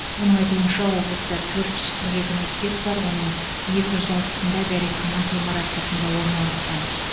оның айтуынша облыста төрт жүз қырық екі мектеп бар оның екі жүз алпысында дәретхана ғимарат сыртында орналасқан